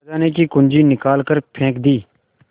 खजाने की कुन्जी निकाल कर फेंक दी